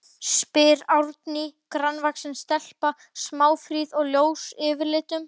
spyr Árný, grannvaxin stelpa, smáfríð og ljós yfirlitum.